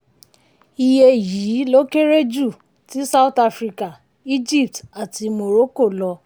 iye yìí lọ kéré ju ti south africa egypt àti morocco lọ.